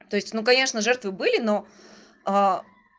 то есть ну конечно жертвы были но